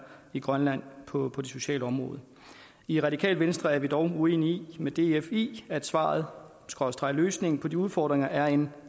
i grønland på det sociale område i radikale venstre er vi dog uenig med df i at svaret skråstreg løsningen på de udfordringer er en